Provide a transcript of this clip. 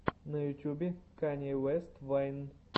на ютюбе канье уэст вайн